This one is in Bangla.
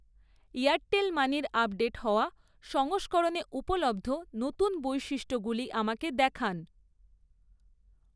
এয়ারটেল মানির আপডেট হওয়া সংস্করণে উপলব্ধ নতুন বৈশিষ্ট্যগুলি আমাকে দেখান